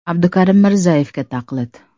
Abdukarim Mirzayevga taqlid.